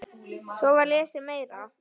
Svo var lesið meira.